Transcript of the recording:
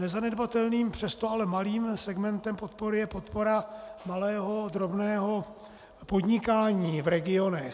Nezanedbatelným, přesto ale malým segmentem podpory je podpora malého, drobného podnikání v regionech.